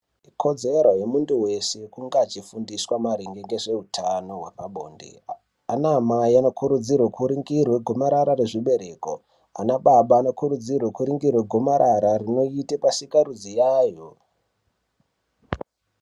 Ikodzero yemuntu wese kunge achifundiswa maringe ngezveutano hwemabonde anaamai anokurudzirwa kuringirwe gomarara zvibereko anababa anokurudzirwe kuringirwe gomarara rinoite pasikarudzi yayo